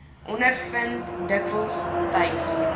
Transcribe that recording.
ondervind dikwels tyds